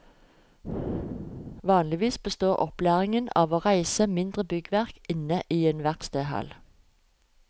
Vanligvis består opplæringen av å reise mindre byggverk inne i en verkstedhall.